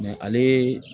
ale